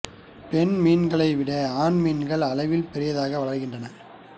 பெண் மீன்களை விட ஆண் மீன்கள் அளவில் பெரியவையாக வளர்கின்றன